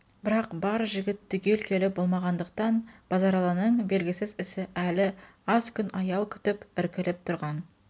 бірақ бар жігіт түгел келіп болмағандықтан базаралының белгісіз ісі әлі аз күн аял күтіп іркіліп тұрған